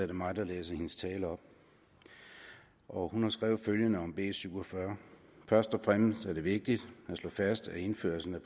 det mig der læser hendes tale op og hun har skrevet følgende om b 47 først og fremmest er det vigtigt at slå fast at indførelsen af